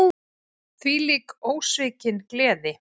Þvílík, ósvikin gleði.